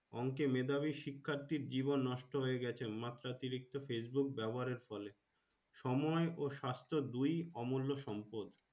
অংকে মেধাবী শিক্ষাত্রীর জীবন নষ্ট হয়ে গাছে মতাত্রিকতো Facebook ব্যবহার এর ফলে সময় ও সাস্থ দুই অমূল্য সম্পদ।